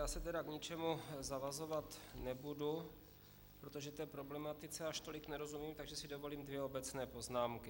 Já se tedy k ničemu zavazovat nebudu, protože té problematice až tolik nerozumím, takže si dovolím dvě obecné poznámky.